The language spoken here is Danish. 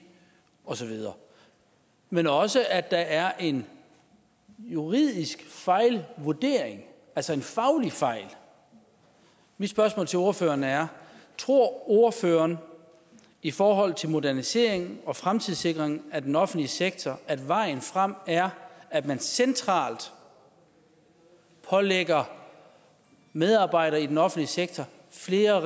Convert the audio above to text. osv men også at der er en juridisk fejlvurdering altså en faglig fejl mit spørgsmål til ordføreren er tror ordføreren i forhold til modernisering og fremtidssikring af den offentlige sektor at vejen frem er at man centralt pålægger medarbejdere i den offentlige sektor flere